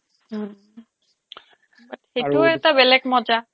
হম but সেইটোও এটা বেলেগ মজা